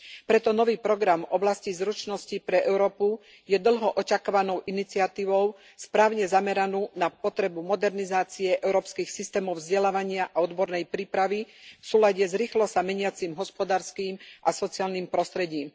Preto nový program v oblasti zručností pre Európu je dlho očakávanou iniciatívou správne zameranú na potrebu modernizácie európskych systémov vzdelávania a odbornej prípravy v súlade s rýchlo sa meniacim hospodárskym a sociálnym prostredím.